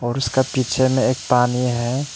और उसका पीछे में एक पानी है।